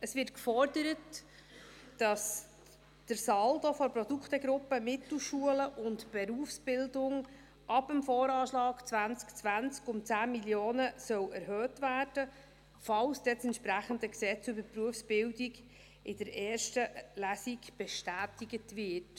Es wird gefordert, dass der Saldo der Produktegruppe «Mittelschulen und Berufsbildung» ab dem Voranschlag (VA) 2020 um 10 Mio. Franken erhöht werden soll, falls dann das BerG in der ersten Lesung bestätigt wird.